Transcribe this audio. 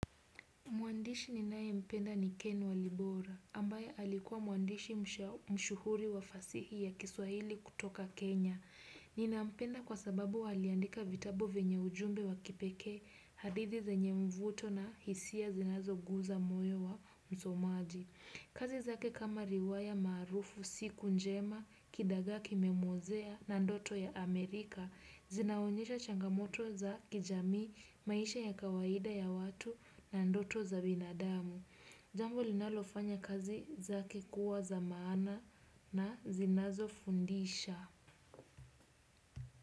Mwandishi ninaye mpenda ni Ken Walibora ambaye alikuwa mwandishi mashuhuri wa fasihi ya kiswahili kutoka Kenya. Nina mpenda kwa sababu aliandika vitabo venye ujumbe wa kipekee, hadithi zenye mvuto na hisia zinazo guza moyo wa msomaji. Kazi zake kama riwaya maarufu siku njema, kidaga kimemwozea na ndoto ya Amerika, zinaonyesha changamoto za kijamii maisha ya kawaida ya watu na ndoto za binadamu. Jambo linalofanya kazi zake kuwa za maana na zinazo fundisha.